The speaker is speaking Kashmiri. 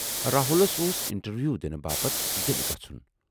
راہُلسؔ اوس انٹروِیو دِنہٕ باپتھ دِلہِ گَژھُن۔